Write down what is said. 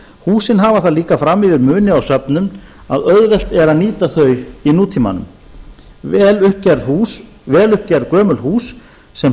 húsin hafa það líka fram yfir muni á söfnum að auðvelt er að nýta þau í nútímanum vel upp gerð gömul hús sem